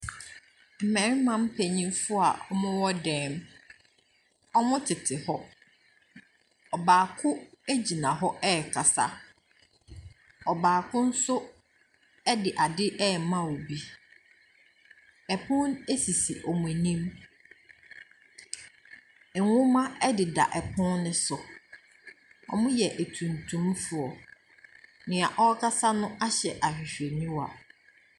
Mmarima mpanyinfo a wɔmo wɔ dan mu. Wɔmo tete hɔ. Ɔbaako egyina hɔ ɛkasa. Ɔbaako nso ɛde ade ɛma obi. Ɛpon esisi wɔn anim. Ɛnhoma ɛdeda ɛpon no so. Wɔmo yɛ atuntum foɔ. Nea ɔkasa no ahyɛ ahwehwɛniwa.